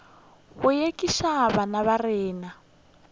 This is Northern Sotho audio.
go ekiša bana ba rena